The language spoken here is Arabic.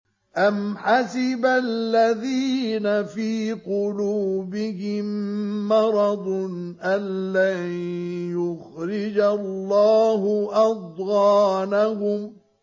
أَمْ حَسِبَ الَّذِينَ فِي قُلُوبِهِم مَّرَضٌ أَن لَّن يُخْرِجَ اللَّهُ أَضْغَانَهُمْ